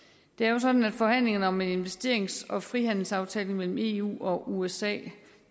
det er jo sådan at forhandlingerne om en investerings og frihandelsaftale mellem eu og usa